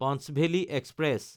Panchvalley express